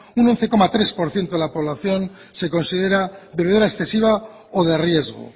un once coma tres por ciento de la población se considera bebedora excesiva o de riesgo